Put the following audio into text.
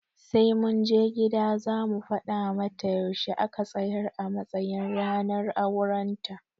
Sai mun je gida za mu fada mata yaushe a ka tsayar a matsayin ranar auren ta